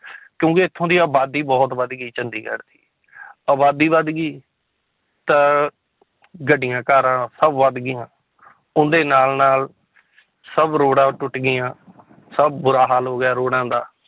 ਕਿਉਂਕਿ ਇੱਥੋਂ ਦੀ ਆਬਾਦੀ ਬਹੁਤ ਵੱਧ ਗਈ ਚੰਡੀਗੜ੍ਹ ਦੀ ਆਬਾਦੀ ਵੱਧ ਗਈ ਤਾਂ ਗੱਡੀਆਂ ਕਾਰਾਂ ਸਭ ਵੱਧ ਗਈਆਂ ਉਹਨਾਂ ਦੇ ਨਾਲ ਨਾਲ ਸਭ ਰੋਡਾਂ ਟੁੱਟ ਗਈਆਂ ਸਭ ਬੁਰਾ ਹਾਲ ਹੋ ਗਿਆ ਰੋਡਾਂ ਦਾ